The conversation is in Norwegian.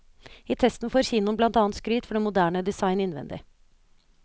I testen får kinoen blant annet skryt for den moderne design innvending.